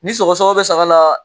Ni sɛgɛsɛgɛ bɛ saga la